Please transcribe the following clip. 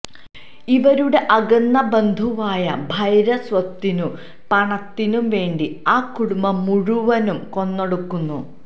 ഇവരുടെ അകന്ന ബന്ധുവായ ഭൈര സ്വത്തിനും പണത്തിനും വേണ്ടി ആ കുടുംബം മുഴുവനും കൊന്നൊടുക്കുന്നു